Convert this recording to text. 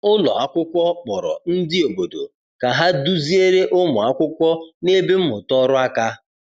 Ụlọ akwụkwọ kpọrọ ndị obodo ka ha duziere ụmụ akwụkwọ na-eme mmụta ọrụ aka.